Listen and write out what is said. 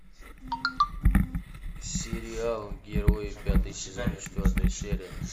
сериал герои пятый сезон четвертая серия